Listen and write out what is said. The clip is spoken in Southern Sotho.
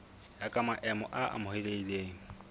ya ka maemo a amohelehileng